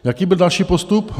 Jaký byl další postup?